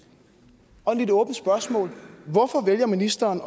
og et lidt åbent spørgsmål hvorfor vælger ministeren